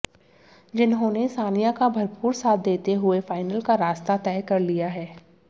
जिन्होंने सानिया का भरपूर साथ देते हुए फाइनल का रास्ता तय कर लिया है